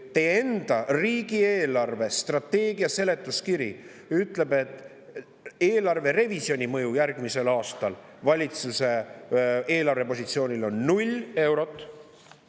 Teie enda riigi eelarvestrateegia seletuskiri ütleb, et eelarverevisjoni mõju järgmisel aastal valitsuse eelarvepositsioonile on 0 eurot.